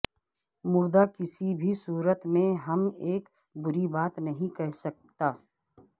مردہ کسی بھی صورت میں ہم ایک بری بات نہیں کہہ سکتا